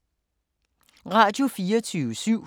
Radio24syv